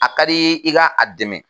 A ka di , i ka a dɛmɛ.